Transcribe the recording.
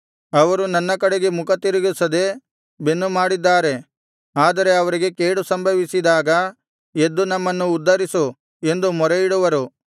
ಅವರು ನನ್ನ ಕಡೆಗೆ ಮುಖತಿರುಗಿಸದೆ ಬೆನ್ನು ಮಾಡಿದ್ದಾರೆ ಆದರೆ ಅವರಿಗೆ ಕೇಡು ಸಂಭವಿಸಿದಾಗ ಎದ್ದು ನಮ್ಮನ್ನು ಉದ್ಧರಿಸು ಎಂದು ಮೊರೆಯಿಡುವರು